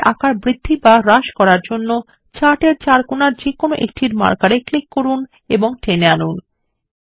chart এর আকার বৃদ্ধি বা হ্রাস করার জন্য চার্ট এর চার কোনার যেকোনো একটির মার্কার এ ক্লিক করুন এবং টেনে আনুন